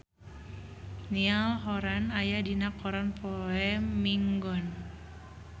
Niall Horran aya dina koran poe Minggon